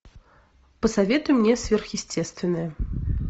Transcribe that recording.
посоветуй мне сверхъестественное